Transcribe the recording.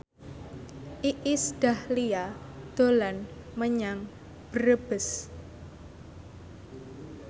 Iis Dahlia dolan menyang Brebes